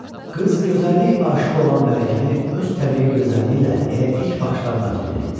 Qız gözəllik aşiq olan mələkəni öz təbii gözəlliyi ilə elə ilk baxışdan məftun etdi.